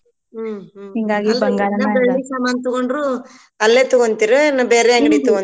ಹೂ ಹೂ ಸಾಮಾನ್ ತಗೊಂಡ್ರು ಅಲ್ಲೇ ತಗೋಂತಿರ ಏನ್ ಬೇರೆ ಅಂಗ್ಡಿ ತಗೋಂತಿರ